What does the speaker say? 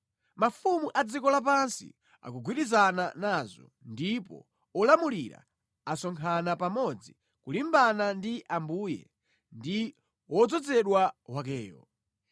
Mafumu a dziko lapansi akugwirizana nazo; ndipo olamulira asonkhana pamodzi kulimbana ndi Ambuye ndi wodzozedwa wakeyo.